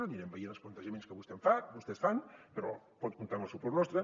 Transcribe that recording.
anirem veient els plantejaments que vostès fan però pot comptar amb el suport nostre